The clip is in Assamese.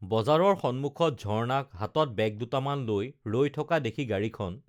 বজাৰৰ সন্মুখত ঝৰ্ণাক হাতত বেগ দুটামান লৈ ৰৈ থকা দেখি গাড়ীখন